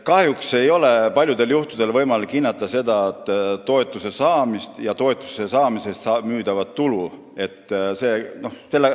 Kahjuks ei ole paljudel juhtudel võimalik seda toetuse saamist ja müüdava toodangu tulu hinnata.